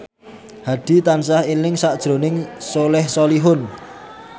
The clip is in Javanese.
Hadi tansah eling sakjroning Soleh Solihun